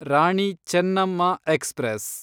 Rani Chennamma express